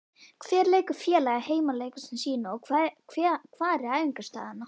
Hvar leikur félagið heimaleiki sína og hvar er æfingaaðstaða?